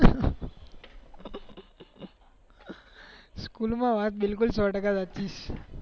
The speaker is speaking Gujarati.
સ્કૂલ માં વાત બિલકુલ સો ટકા સાચું